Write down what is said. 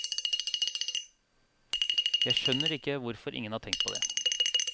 Jeg skjønner ikke hvorfor ingen har tenkt på det.